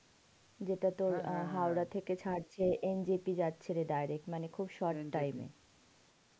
যেটা তোর Howrah থেকে ছাড়ছে NJP যাচ্ছে মানে direct খুব short time এ,